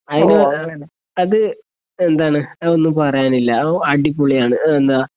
അതിന് അത് എന്താണ് അത് ഒന്നും പറയാനില്ല അ അടിപൊളിയാണ് ഉം എന്താ